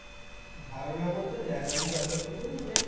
ধারণা বলতে দেখ আমি যতটুকু মানে